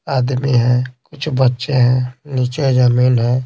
आदमी हैं कुछ बच्चे हैं नीचे जमीन है।